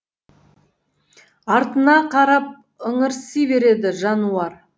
артына қарап ыңырси береді жануар